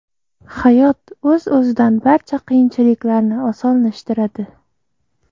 Hayot o‘z-o‘zidan barcha qiyinchiliklarni osonlashtiradi.